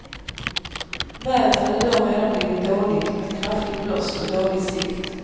Vädret hade då redan blivit dåligt med kraftig blåst och dålig sikt.